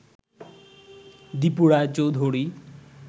Dipu Roy Chowdhury